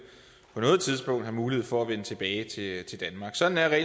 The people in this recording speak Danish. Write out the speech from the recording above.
på noget tidspunkt have mulighed for at vende tilbage til danmark sådan er